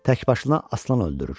Təkbaşına aslan öldürür.